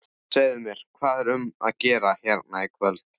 Segðu mér, hvað er um að vera hérna í kvöld?